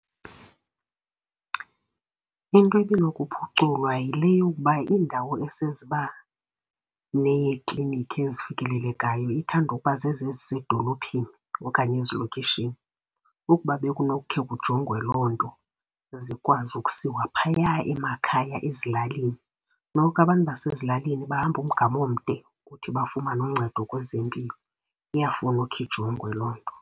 Into ebinokuphuculwa yile yokuba iindawo eseziba neeklinikhi ezifikelelekayo ithanda ukuba zezi ezisezidolophini okanye ezilokishini. Ukuba bekunokukhe kujongwe loo nto zikwazi ukusiwa phaya emakhaya ezilalini. Noko abantu basezilalini bahamba umgama omde ukuthi bafumane uncedo kwezempilo, iyafuna ukhe ijongwe loo nto.